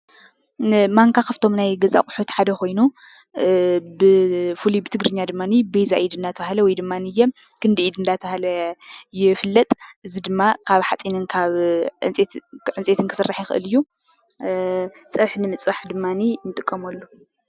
ማንካ ካብቶም ናይ ገዛ ኣቑሑት ሓደ ኾይኑ ብፉሉይ ብትግርኛ ድማ በይዛ ኢድ እናተባህለ ወይ ድማ ክንዲ ኢድ እናተባህለ ይፍለጥ። እዚ ድማ ካብ ሓፂንን ካብ ዕንፀይትን ክስራሕ ይኽል እዩ። ፀብሒ ንምፅባሕ ድማ ንጥቀመሉ።